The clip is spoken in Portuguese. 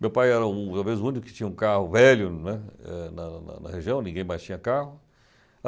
Meu pai era o o talvez o único que tinha um carro velho, né, eh na na na região, ninguém mais tinha carro.